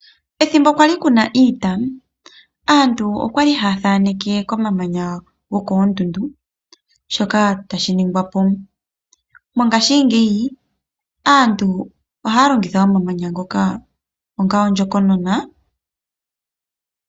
Ethimbo kwali kuna iita, aantu okwali yathaneke komamanya gokoondundu shoka tashiningwapo. Mongashi ngeyi aantu ohaya longitha omamanya ngoka onga ondjokonona.